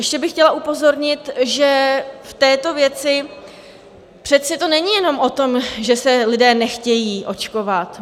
Ještě bych chtěla upozornit, že v této věci to přece není jenom o tom, že se lidé nechtějí očkovat.